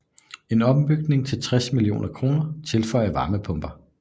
En ombygning til 60 mio kr tilføjer varmepumper